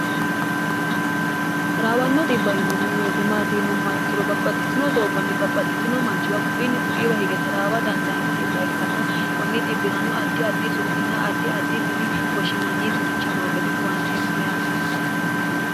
taraawanno xbbainanni weyitemaatiinumma ikkiro babbaxxitino doogonni babbaxxitino manchiwa kuiinni kuiiwa hige taraawa dandaanno xbb ikkann kunni xibi'rano addi addi su'min addi addi dini woshshinanniisi richi noo gede huwanteemmo yaati